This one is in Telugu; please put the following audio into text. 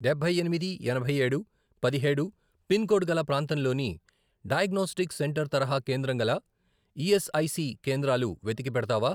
డబ్బై ఎనిమిది, ఎనభై ఏడు, పదిహేడు, పిన్ కోడ్ గల ప్రాంతంలోని డయాగ్నోస్టిక్ సెంటర్ తరహా కేంద్రం గల ఈఎస్ఐసి కేంద్రాలు వెతికి పెడతావా?